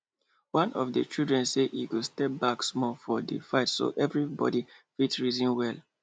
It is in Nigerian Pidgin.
one of the children say e go step back small from di fight so everybody fit reason well